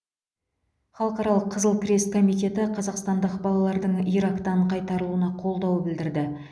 халықаралық қызыл крест комитеті қазақстандық балалардың ирактан қайтарылуына қолдау білдірді